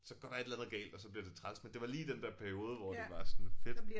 Så går der et eller andet galt og så bliver det træls men det var lige i den der periode hvor det var sådan fedt